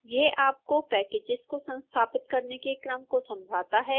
यह आपको पैकेजेस को संस्थापित करने के क्रम को समझाता है